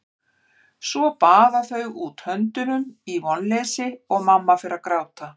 Svo baða þau út höndunum í vonleysi og mamma fer að gráta.